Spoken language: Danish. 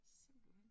Simpelthen